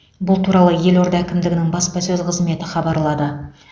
бұл туралы елорда әкімдігінің баспасөз қызметі хабарлады